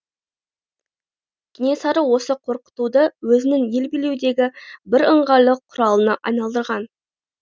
кенесары осы қорқытуды өзінің ел билеудегі бір ыңғайлы құралына айналдырған